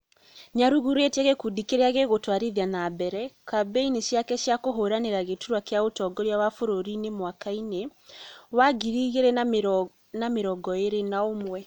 Nĩ arugũrĩtie gĩkundi kĩrĩa gĩgũtwarithia nambere kambĩini ciake cia kũhũranĩra gĩturwa kĩa ũtongoria wa bũrũri mwaka-inĩ wa ngiri igĩrĩ na mĩrongo ĩrĩ na ũmwe